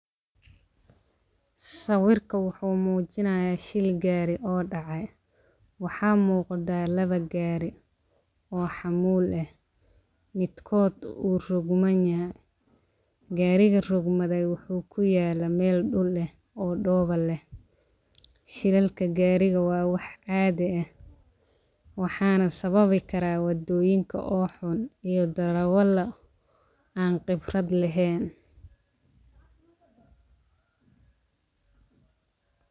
Sawirka wuxuu mujinayaa shil gari oo dacay, waxaa muqdaa lawa gari oo xamul ah midkod u rog man yahay gari rogmade waxuu kuyala meel dul eh oo dowa leh shilalilka garidha waa wax cadhi eh waxana sawabi karaa wadoyinka oo xon iyo darawala an qibraad lahen.